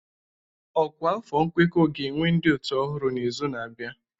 Ọkwa afọ nkwekọ ga-ewe ndị ọ́tù ọhụrụ n'izu na-abịa.